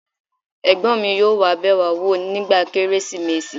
ẹ̀gbọ́n mi yóò bẹ̀ wá wò nígbà Kérésìmesì